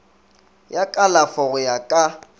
ya kalafo go ya ka